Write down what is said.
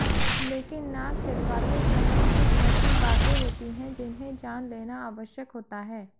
लेकिन नाक छिदवाते समय कुछ ऐसी बाते होती है जिन्हे जान लेना आवश्यक होता है